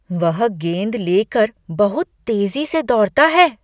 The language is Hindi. वह गेंद ले कर बहुत तेजी से दौड़ता है।